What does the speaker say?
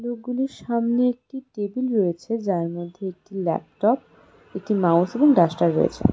লোকগুলির সামনে একটি টেবিল রয়েছে যার মধ্যে একটি ল্যাপটপ একটি মাউস এবং ডাস্টার রয়েছে।